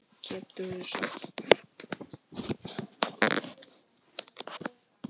Geturðu sagt okkur?